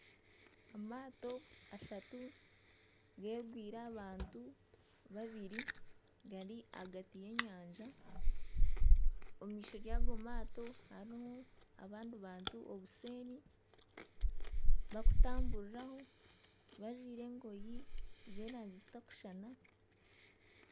Amaato ashatu geegwire abantu babiri gari ahagati y'enyanja omu maisho yago maato harimu abantu obuseeri bakutamburiraho bajwaire emyenda z'erangi zitakushushana .